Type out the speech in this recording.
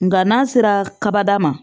Nga n'a sera kaba ma